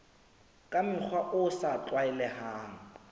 ka mokgwa o sa tlwaelehang